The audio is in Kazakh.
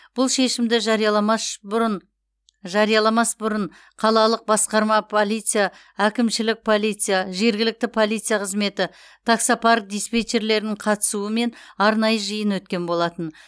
бұл шешімді жарияламаш бұрын жарияламас бұрын қалалық басқарма полиция әкімшілік полиция жергілікті полиция қызметі таксопарк диспетчерлерінің қатысуымен арнайы жиын өткен болатын